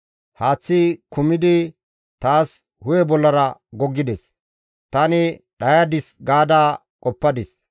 Haaththi kumidi taas hu7e bollara goggides; tani dhayadis gaada qoppadis.